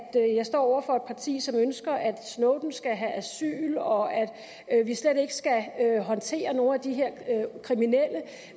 over for et parti som ønsker at snowden skal have asyl og at vi slet ikke skal håndtere nogen af de her kriminelle